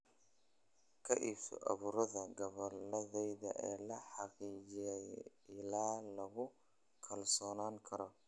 Ka iibso abuurka gabbaldayaha ee la xaqiijiyay ilo lagu kalsoonaan karo.